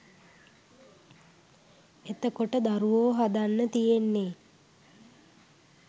එතතකොට දරුවෝ හදන්න තියෙන්නේ